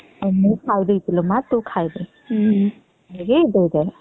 ମୁ ଖାଇଦେଇଛି ଲୋ ମା ତୁ ଖାଇ ଦେ